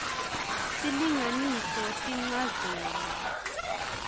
s silinganiso tinchazelo